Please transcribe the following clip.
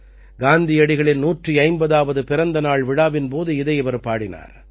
காந்தியடிகளின் 150ஆவது பிறந்த நாள் விழாவின் போது இதை இவர் பாடினார்